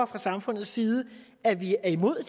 fra samfundets side at vi er imod